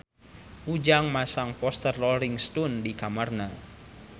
Ujang masang poster Rolling Stone di kamarna